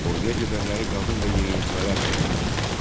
Orduya gedənləri qadın və yeniyetmələr əvəz etdi.